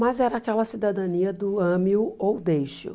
Mas era aquela cidadania do ame-o ou deixe-o.